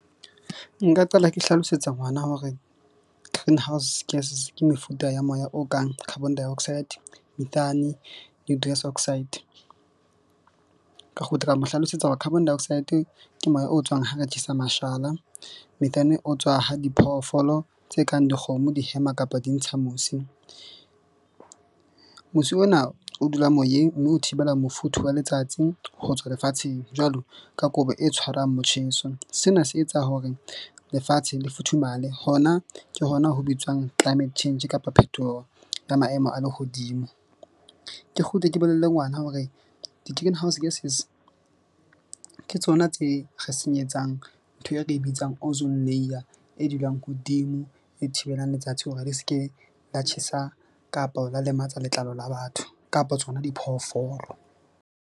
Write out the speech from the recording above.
Nka qala ke hlalosetsa ngwana hore greenhouse gases ke mefuta ya moya o kang carbon dioxide, methane ka kgutla ka mo hlalosetsa hore carbon dioxide ke moya o tswang ha re tjhesa mashala. Methane o tswa ha diphoofolo tse kang dikgomo di hema, kapa di ntsha mosi. Mosi ona o dula moyeng mme o thibela mofuthu wa letsatsi ho tswa lefatsheng jwalo ka kobo e tshwarang motjheso. Sena se etsa hore lefatshe le futhumale hona ke hona ho bitswang climate change kapa phetoho ya maemo a lehodimo. Ke kgutle, ke bolelle ngwana hore di-greenhouse gases ke tsona tse re senyetsang ntho e re ka e bitsang, ozone layer. E dulang hodimo e thibelang letsatsi hore di ske la tjhesa kapa la lematsa letlalo la batho, kapa tsona diphoofolo.